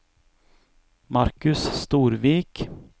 Markus Storvik